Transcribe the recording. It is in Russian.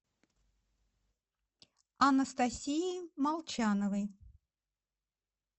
анастасии молчановой